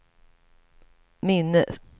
minne